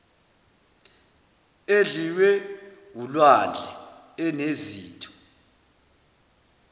edliwe wulwandle enezitho